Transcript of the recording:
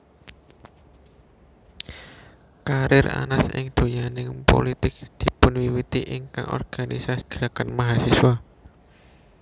Karir Anas ing donyaning pulitik dipunwiwiti ing organisasi gerakan mahasiswa